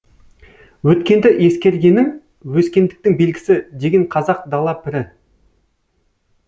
өткенді ескергенің өскендіктің белгісі деген қазақ дала пірі